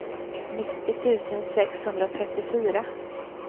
nittio tusen sexhundratrettiofyra